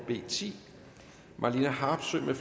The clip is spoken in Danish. b ti marlene harpsøe